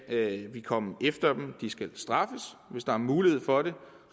vi komme efter dem de skal straffes hvis der er mulighed for det